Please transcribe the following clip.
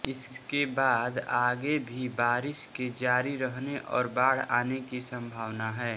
इसके बाद आगे भी बारिश के जारी रहने और बाढ़ आने की संभावना है